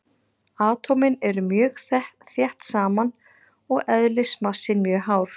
Atómin eru mjög þétt saman og eðlismassinn mjög hár.